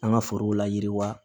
An ka forow la yiriwa